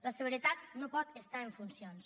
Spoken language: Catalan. la seguretat no pot estar en funcions